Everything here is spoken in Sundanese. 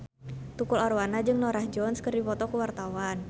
Tukul Arwana jeung Norah Jones keur dipoto ku wartawan